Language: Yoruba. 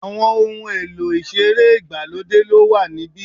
Àwọn ohun èlò ìṣeré ìgbàlódé ló wà níbí.